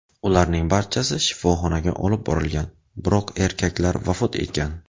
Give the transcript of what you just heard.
Ularning barchasi shifoxonaga olib borilgan, biroq erkaklar vafot etgan.